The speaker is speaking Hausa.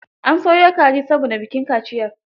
An soyo kaji saboda bikin kaciyar.